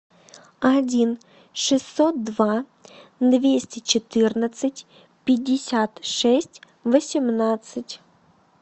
один шестьсот два двести четырнадцать пятьдесят шесть восемнадцать